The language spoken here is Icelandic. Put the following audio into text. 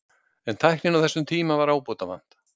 En tækninni á þessum tíma var ábótavant.